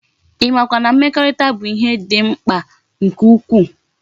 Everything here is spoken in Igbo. I ma kwa na mmekorita bu ihe di mkpa nke ukwu?